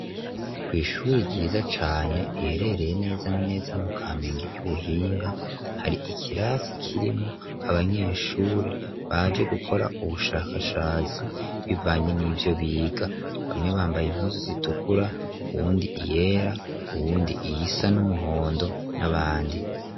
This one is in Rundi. Kw'ishuri ryiza cane riherereye neza na neza mu kamenge ry'ubuhinga hari ikirasi kirimo abanyeshure baje gukora ubushakashatsi bivanye n'ivyo biga bamwe bambaye impuzu zitukura uwundi iyera uwundi iy isa n'umuhondo n'abandi.